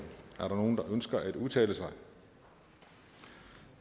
ønsker nogen at udtale sig